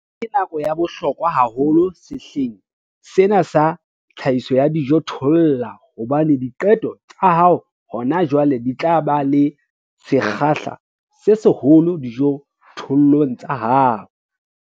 Ena ke nako ya bohlokwa haholo sehleng sena sa tlhahiso ya dijothollo hobane diqeto tsa hao hona jwale di tla ba le sekgahla se seholo dijothollong tsa hao.